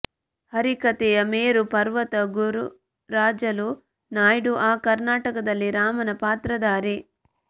ಹರಿಕಥೆಯ ಮೇರು ಪರ್ವತ ಗುರುರಾಜಲು ನಾಯ್ಡು ಆ ನಾಟಕದಲ್ಲಿ ರಾಮನ ಪಾತ್ರಧಾರಿ